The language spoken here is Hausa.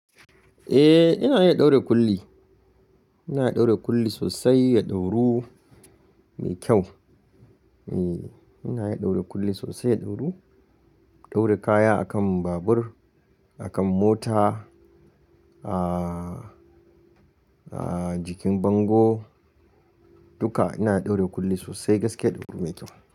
Eh, ina iya ɗaure kulli. Ina iya ɗaure kulli sosai, ya ɗauru mai kyau. Eh, ina iya ɗaure kulli sosai, ya ɗauru. Ɗaure kaya a kan babur, a kan mota, ah, ah jikin bango, dukka ina ɗaure kulli sosai gaskiya ya ɗauru mai kyau.